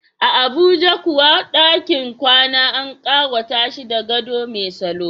A Abuja kuwa, dakin kwana an kawata shi da gado mai salo.